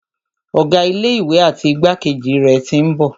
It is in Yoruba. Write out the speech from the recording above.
Ọ̀gá ilé ìwé àti igbákejì rẹ̀ tí ń bọ̀.